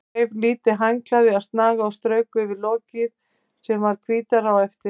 Hún þreif lítið handklæði af snaga og strauk yfir lokið sem varð hvítara á eftir.